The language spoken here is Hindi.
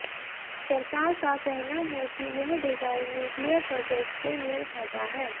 सरकार का कहना है कि यह डिजाइन न्यूक्लियर प्रॉजेक्ट से मेल खाता है